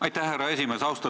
Aitäh, härra esimees!